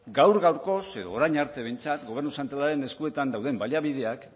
gaur gaurkoz edo orain arte behintzat gobernu zentralaren eskuetan daude baliabideak